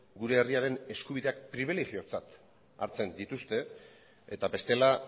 gure herriaren eskubideak pribilegiotzat hartzen dituzte eta bestela